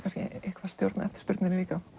eitthvað stjórnað eftirspurninni líka